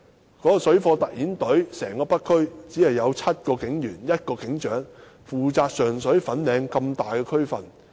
北區的水貨特遣隊只有7名警員和1名警長，卻要負責上水和粉嶺兩個大區。